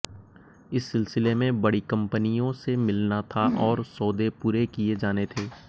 इस सिलसिले में बड़ी कंपनियों से मिलना था और सौदे पूरे किए जाने थे